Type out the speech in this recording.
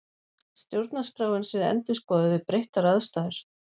Stjórnarskráin sé endurskoðuð við breyttar aðstæður